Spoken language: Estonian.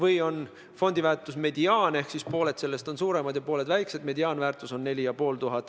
Mediaanväärtus, millest pooled on suuremad ja pooled väiksemad, on aga 4500 eurot.